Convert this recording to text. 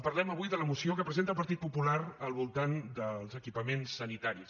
parlem avui de la moció que presenta el partit popular al voltant dels equipaments sanitaris